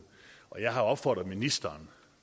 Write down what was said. og jeg har opfordret ministeren